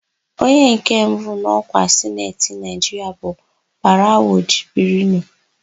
Onye nke abụọ n'ọkwa Sineti Naịjiria bụ Barawu Jibrinu.